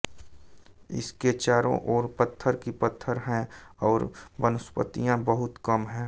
इसके चारों ओर पत्थर ही पत्थर हैं और वनस्पतियां बहुत कम हैं